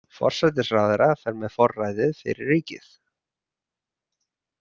Forsætisráðherra fer með forræðið fyrir ríkið.